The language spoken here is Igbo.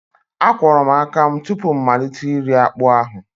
Akwọrọ m aka tupu m malite iri akpu ahụ